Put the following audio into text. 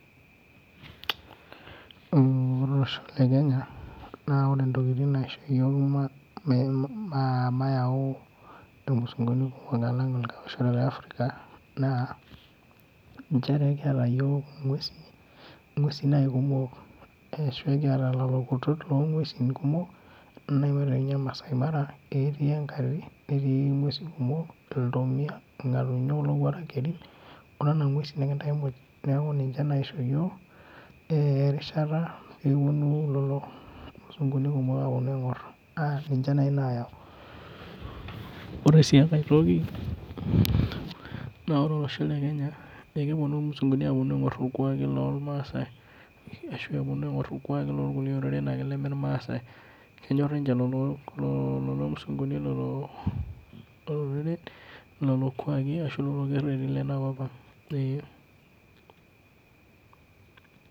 Mm ore olosho le Kenya naa, ore intokitin naisho iyiok mayau imusunguni kumok alang le Africa naa, nchere kiyata iyiok inguesi nai kumok ashu ekiata lelo kutot loo nguesi kumok. Neaku ore ninye maasai mara netii inguesi kumok, iltomia, irngatunyo, olowuark keri onena nguesi muj. Neaku ninche naishoo iyiok eh rishata pee eponu lelo musunguni kumok aponu aingor naa ninche naaji nayau. Ore si enkae toki naa ore olosho le Kenya ekeponu imusunguni aponu aingor irkuaki lolmaasae ashu eponu aingor irkuaki lorkuliek oreren ake leme irmasaae. Kenyor ninye lelo musunguni loo loreren lelo kuaki ashu lelo kereti lena nkop ang eh.